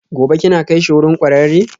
Gobe ​​kina kaishi wurin kwararre?